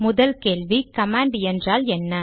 முதல் கேள்வி கமாண்ட் என்றால் என்ன